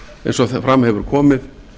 eins og fram hefur komið